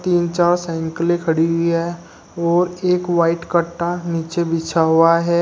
तीन चार साइकिलें खड़ी हुई है और एक वाइट कट्टा नीचे बिछा हुआ है।